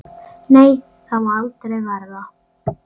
Nei, það má aldrei verða.